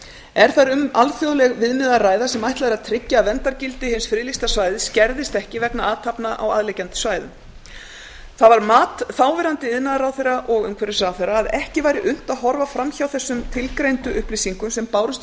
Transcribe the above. er þar um alþjóðleg viðmið að ræða sem ætlað er að tryggja að verndargildi hins friðlýsta svæðis skerðist ekki vegna athafna á aðliggjandi svæðum það var mat þáverandi iðnaðarráðherra og umhverfisráðherra að ekki væri unnt að horfa fram hjá þessum tilgreindu upplýsingum sem bárust í